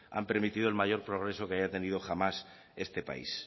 han permitido el mayor progreso que haya tenido jamás este país